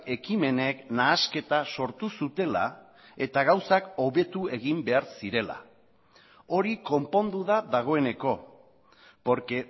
ekimenek nahasketa sortu zutela eta gauzak hobetu egin behar zirela hori konpondu da dagoeneko porque